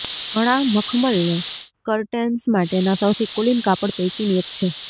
ઘણાં મખમલને કર્ટેન્સ માટેના સૌથી કુલીન કાપડ પૈકીની એક છે